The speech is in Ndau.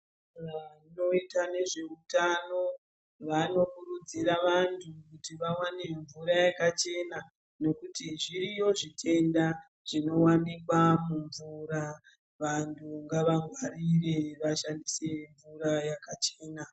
Vantu vanoita nezvehutano vanokurudzira anthu kuti vawane mvura yakachena nekuti zviriyo zvitenda zvinowanikwa mumvura vantu ngavangwarire vachishandise mvura yakachena.